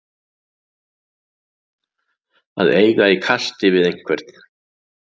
Að eiga í kasti við einhvern